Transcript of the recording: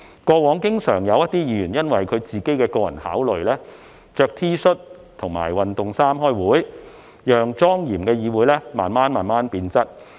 過往經常有議員因其個人考慮，穿着 T 恤或運動服開會，令莊嚴的議會慢慢變質。